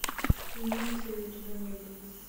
имеется ли у тебя недруги